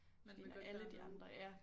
Man vil godt være med